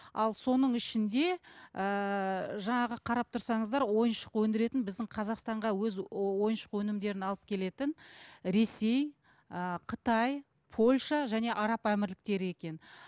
ал соның ішінде ііі жаңағы қарап тұрсаңыздар ойыншық өндіретін біздің қазақстанға өз ойыншық өнімдерін алып келетін ресей ыыы қытай польша және араб әмірліктері екен